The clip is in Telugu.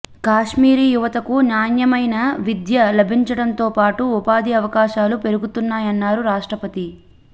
కశ్మీరీ యువతకు నాణ్యమైన విద్య లభించడంతో పాటు ఉపాధి అవకాశాలు పెరుగుతాయన్నారు రాష్ట్రపతి